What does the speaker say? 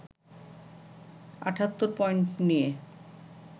৭৮ point নিয়ে